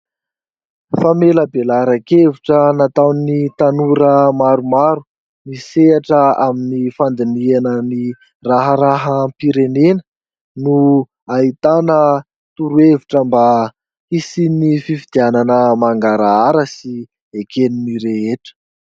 Famelabelaran-kevitra nataon'ny tanora maromaro, misehatra amin'ny fandiniana ny raharaham-pirenena no ahitana torohevitra mba hisian'ny fifidianana mangarahara sy eken'ny rehetra.